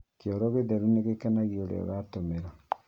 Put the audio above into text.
Kioro gĩtheru nĩgĩkenagia ũrĩa ũratũmĩra